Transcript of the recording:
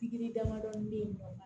Pikiri damadɔni bɛ yen